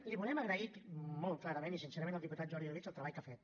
li volem agrair molt clarament i sincerament al diputat jordi orobitg el treball que ha fet